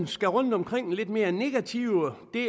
skal rundt omkring den lidt mere negative del